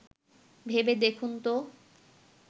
ভেবে দেখুন ত